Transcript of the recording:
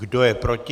Kdo je proti?